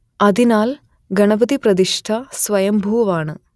അതിനാൽ ഗണപതിപ്രതിഷ്ഠ സ്വയംഭൂവാണ്